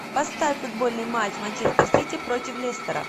поставь футбольный матч манчестер сити против лестера